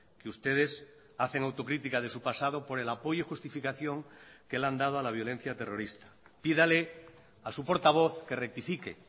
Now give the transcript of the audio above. que ustedes hacen autocrítica de su pasado por el apoyo y justificación que le han dado a la violencia terrorista pídale a su portavoz que rectifique